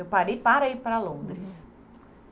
Eu parei para ir para Londres. Uhum.